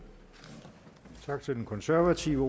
konservative